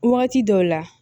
Wagati dɔw la